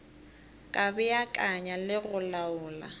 ka beakanya le go laola